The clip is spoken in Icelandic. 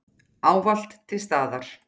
Ávallt til staðar.